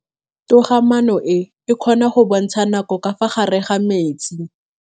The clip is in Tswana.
Toga-maanô e, e kgona go bontsha nakô ka fa gare ga metsi.